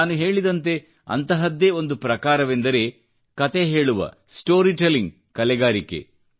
ನಾನು ಹೇಳಿದಂತೆ ಅಂತಹದ್ದೇ ಒಂದು ಪ್ರಕಾರವೆಂದರೆ ಕತೆಹೇಳುವ ಸ್ಟೋರಿ ಟೆಲ್ಲಿಂಗ್ ಕಲೆಗಾರಿಕೆ